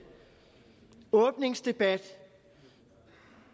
åbningsdebat